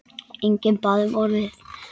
Enginn bað um orðið.